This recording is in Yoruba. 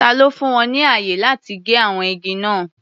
Ta ló fún wọn ní ààyè láti gé àwọn igi náà?